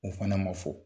O fana ma fɔ